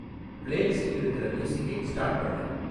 பிளேலிஸ்ட்டில் இருக்குற மியூசிக்கை ஸ்டார்ட் பண்ணு